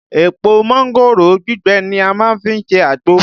Èpò mángòrò gbígbẹ ni a má ń fi ṣe àgbò